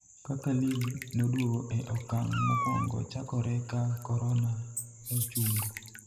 kaka lig noduogo e okang' mokwongo chakore ka korona nochungo